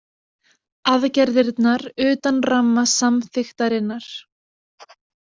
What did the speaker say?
Aðgerðirnar utan ramma samþykktarinnar